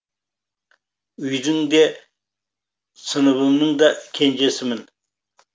үйдің де сыныбымның да кенжесімін